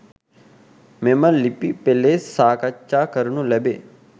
මෙම ලිපි පෙලේ සාකච්ඡා කරනු ලැබේ.